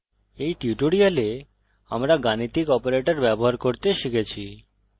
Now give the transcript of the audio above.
এই টিউটোরিয়াল আমরা গাণিতিক অপারেটর ব্যবহার করতে শিখেছি